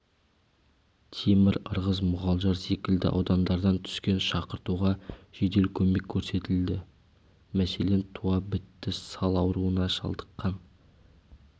темір ырғыз мұғалжар секілді аудандардан түскен шақыртуға жедел көмек көрсетілді мәселен туа бітті сал ауруына шалдыққан